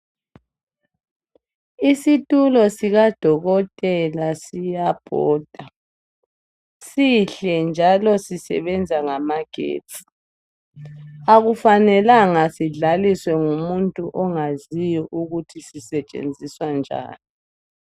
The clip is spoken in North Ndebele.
Isitulo sikadokotela siyabhoda sihle njalo sisebenza ngamagetsi, akufanelanga sidlaliswe ngumuntu ongakwazi ukuthi sisetshenziswa njani.